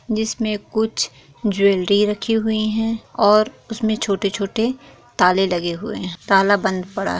जिस मे कुछ ज्वेलरी रखी हुई है और उसमे छोटे-छोटे ताले लगे हुए हैं ताला बंद पड़ा है ।